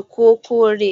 ikokore.